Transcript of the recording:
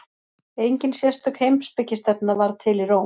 Engin sérstök heimspekistefna varð til í Róm.